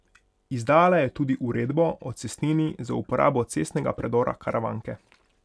Izdala je tudi uredbo o cestnini za uporabo cestnega predora Karavanke.